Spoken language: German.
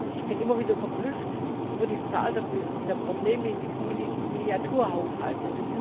Ich bin immer wieder verblüfft über die Zahl der Probleme in diesen Miniaturhaushalten.